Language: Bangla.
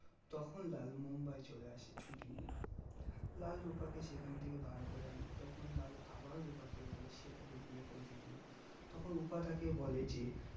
তখন লাল মুম্বাই চলে আসে ছুটি নিয়ে লাল রুপা কে সেখান থেকে বার করে আনে তখন লাল আবার রুপাকে বলে সে তাকে বিয়ে করবে কিনা তখন রুপা তাকে বলে যে